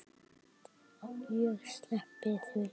Ég held ég sleppi því.